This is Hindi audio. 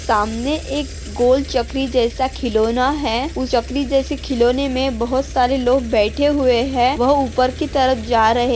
सामने एक गोल चकरी जैसा खिलौना है उस चकरी जैसे खिलौना मे बहुत सारे लोग बैठे हुए है वह ऊपर की तरफ जा रहे--